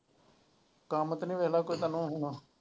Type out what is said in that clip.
ਕੰਮ ਤਾਂ ਨਹੀਂ ਰਹਿੰਦਾ ਕੋਈ ਤੈਨੂੰ ਹੁਣ।